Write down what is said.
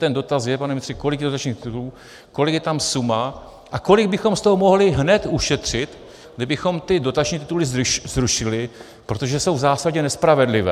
Ten dotaz je, pane ministře, kolik je dotačních titulů, kolik je tam suma a kolik bychom z toho mohli hned ušetřit, kdybychom ty dotační tituly zrušili, protože jsou v zásadě nespravedlivé.